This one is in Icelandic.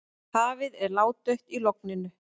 Hafið er ládautt í logninu.